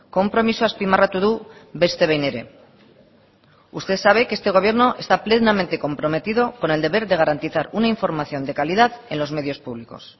konpromisoa azpimarratu du beste behin ere usted sabe que este gobierno está plenamente comprometido con el deber de garantizar una información de calidad en los medios públicos